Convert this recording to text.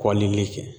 Kɔlili kɛ